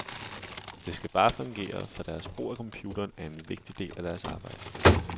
Det skal bare fungere, for deres brug af computeren er en vigtig del af deres arbejde.